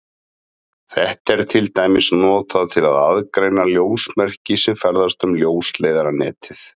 Þetta er til dæmis notað til að aðgreina ljósmerki sem ferðast um ljósleiðaranetið.